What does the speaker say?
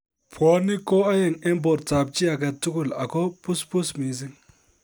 Bwonik ko oeng en bortab chii agetugul ago busbus missing